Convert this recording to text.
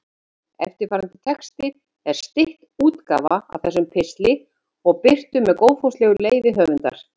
Eftirfarandi texti er stytt útgáfa af þessum pistli og birtur með góðfúslegu leyfi höfundar.